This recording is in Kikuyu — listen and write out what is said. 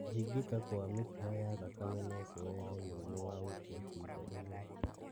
Kũhingĩka gwa mĩkiha ya thakame no kũrehe mũrimũ wa gũkua ciĩga imwe